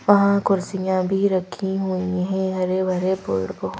वहाँ कुर्सियां भी रखी हुई है हरे भरे पेड़ को--